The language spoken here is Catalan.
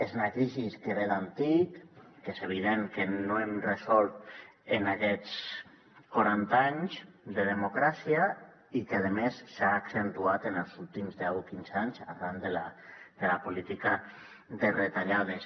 és una crisi que ve d’antic que és evident que no hem resolt en aquests quaranta anys de democràcia i que a més s’ha accentuat en els últims deu o quinze anys arran de la política de retallades